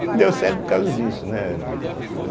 Não deu certo por causa disso, né?